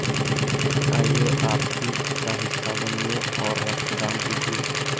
आइए आप भी इसका हिस्सा बनिए और रक्तदान कीजिए